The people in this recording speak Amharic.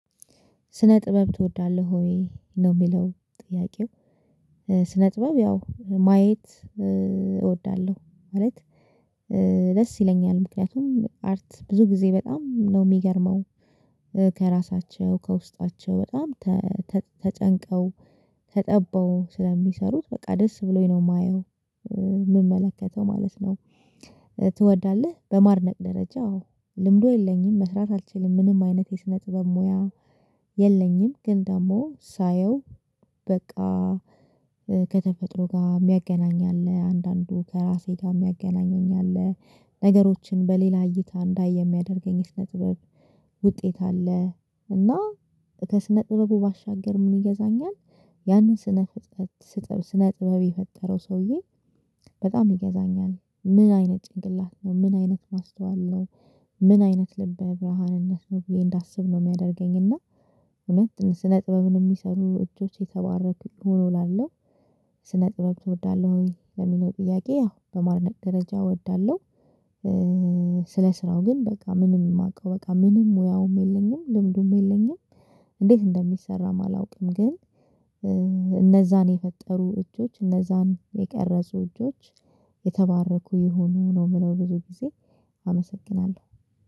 ስነ ጥበብ ትወዳለሁ ወይ ነው የሚለው ጥያቄው? ስነ ጥበብ ያው ማየት እወዳለሁ ማለት ደስ ይለኛል ምክንያቱም አርት ብዙ ጊዜ በጣም ነው የሚገርመው ከራሳቸው ከውስጣቸው በጣም ተጨንቀው ተጠበው ስለሚሰሩት በቃ ደስ ብሎኝ ነው የማየው የምመለከተው ማለት ነው። ትወዳለህ በማድነቅ ደረጃ አዎ ልምዱ የለኝም መስራት አልችልም። ምንም አይነት የሰነጥበብ ሙያ የለኝም ግን ደግሞ ሳየው በቃ ከተፈጥሮ ጋር የሚያገናኝ አለ አንዳንዱ ከራሴ ጋር የሚያገናኘኝ አለ ነገሮችን በሌላ እይታ እንዳየ የሚያደርገኝስ የስነጥበብ ውጤት አለ። እና ከስነ ጥበቡ ባሻገር ምን ይገዛኛል? ያንን ስነ ጥበብ የፈጠረው ሰውዬ በጣም ይገዛኛል ምን አይነት ጭንቅላት ነው ምን አይነት ማስተዋል ነው? ምን አይነት ልበ በረሃንነት ነው ብዬ እንዳስብ ነው የሚያደርገኝ እና እውነት ስነ ጥበብን እሚሰሩ እጆች የተባረክ ይሁኑ እላለሁ። ስነ ጥበብ ትወዳለህ ወይ ለሚለው ጥያቄ? ያው በማድነቅ ደረጃ እወዳለሁ። ስለ ስራው ግን በቃ ምንም የማውቀው በቃ ምንም ሙያውም የለኝም ልምዱም የለኝም እንዴት እንደሚሰራም አላውቅም። ግን እነዛን የፈጠሩ እጆች እነዛን የቀረጹ እጆች የተባረኩ ይሁኑ ነው የምለው ብዙ ጊዜ አመሰግናለሁ